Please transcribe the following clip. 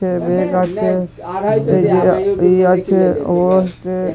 bag আছে ব্যাগে ইযে আছে